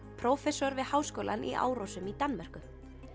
prófessor við Háskólann í Árósum í Danmörku